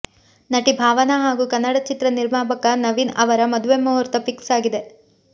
ನಟಿ ಭಾವನಾ ಹಾಗೂ ಕನ್ನಡ ಚಿತ್ರ ನಿರ್ಮಾಪಕ ನವೀನ್ ಅವರ ಮದುವೆ ಮುಹೂರ್ತ ಫಿಕ್ಸ್ ಆಗಿದೆ